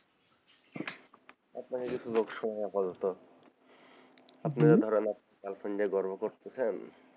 আপনাকে কিছু লোক শোনাই আপাতত আপনি যে ধরেন girlfriend নিয়ে গর্ভ করতেছেন,